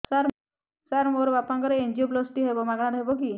ସାର ମୋର ବାପାଙ୍କର ଏନଜିଓପ୍ଳାସଟି ହେବ ମାଗଣା ରେ ହେବ କି